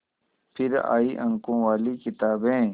फिर आई अंकों वाली किताबें